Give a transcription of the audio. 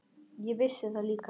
Ég vissi það líka.